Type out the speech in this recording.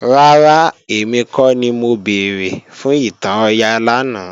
Rárá, èmi kọ́ ni mo béèrè fún ìtàn Ọya lánàá